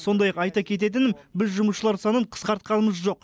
сондай ақ айта кететінім біз жұмысшылар санын қысқартқанымыз жоқ